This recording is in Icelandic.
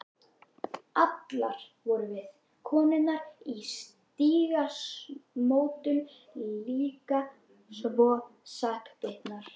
Allar vorum við, konurnar í Stígamótum, líka svo sakbitnar.